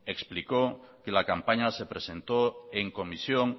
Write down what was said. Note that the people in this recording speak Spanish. explicó que la campaña se presentó en comisión